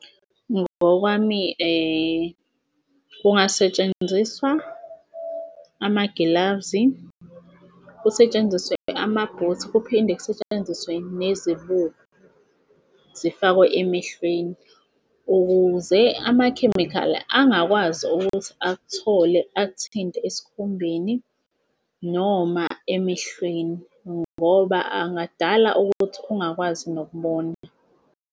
Ngokwami kungasetshenziswa amagilavuzi, kusetshenziswe amabhithi, kuphinde kusetshenziswe nezibuko zifakwe emehlweni ukuze amakhemikhali angakwazi ukuthi akuthole akuthinte esikhumbeni noma emehlweni ngoba angadala ukuthi ungakwazi nokubona.